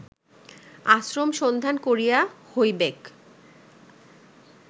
আশ্রম সন্ধান করিয়া হইবেক